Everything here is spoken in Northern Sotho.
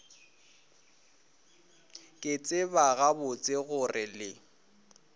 ke tseba gabotse gore le